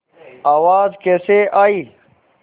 आवाज़ कैसे आई